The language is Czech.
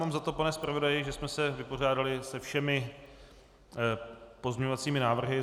Mám za to, pane zpravodaji, že jsme se vypořádali se všemi pozměňovacími návrhy.